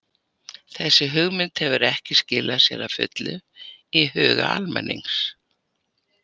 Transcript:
Þessi hugmynd hefur ekki skilað sér að fullu í huga almennings.